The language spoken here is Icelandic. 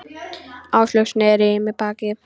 Áslaug sneri í mig baki.